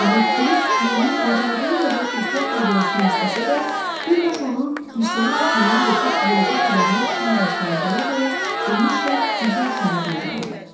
Amma Kirisk yerini bacardığı qədər ehtiyatla dəyişmək istəsə də, bir daş onun dirsəyi altından qopub yolda qabağına çıxan daşlara dəyə-dəyə enişlə üzü aşağı diyirləndi.